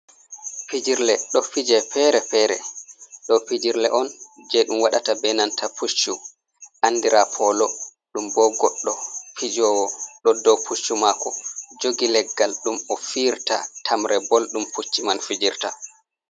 Fijirle ɗo fije fere-fere. Ɗo pijirle on je ɗum waɗata be nanta puccu anɗira polo. Ɗum bo goɗɗo pijowo ɗo ɗow puccu mako jogi leggal, ɗum o fiirta tamre bol ɗum pucci man fijirta.